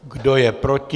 Kdo je proti?